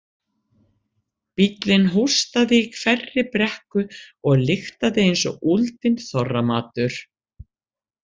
Bíllinn hóstaði í hverri brekku og lyktaði eins og úldinn þorramatur.